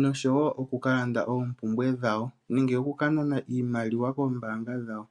nosho wo okukalanda oompumbwe dhawo, nenge oku kanana iimaliwa koombaanga dhawo.